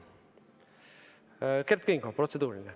Kert Kingo, protseduuriline.